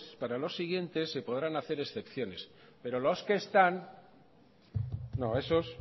para los siguientes se podrán hacer excepciones pero los que están no esos